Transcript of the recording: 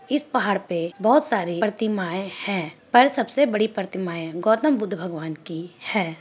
इस पहाड़ पे बहुत सारी प्रतिमाए है पर सबसे बड़ी प्रतिमाए गौतम बुद्ध भगवान की है।